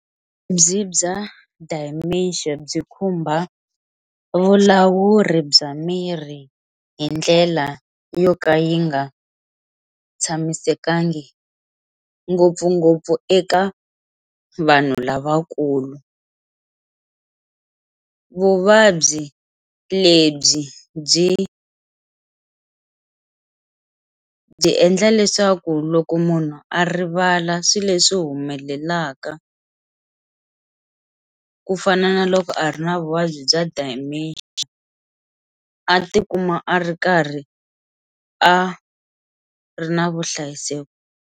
Vuvabyi bya dementia byi khumba vulawuri bya mirhi hi ndlela yo ka yi nga tshamisekangi ngopfungopfu eka vanhu lavakulu, vuvabyi lebyi byi byi endla leswaku loko munhu a rivala swilo leswi humelelaka ku fana na loko a ri na vuvabyi bya dementia a tikuma a ri karhi a ri na vuhlayiseki.